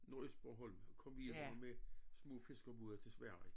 Nordøstbornholm kom videre med små fiskerbåde til Sverige